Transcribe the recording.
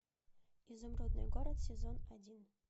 изумрудный город сезон один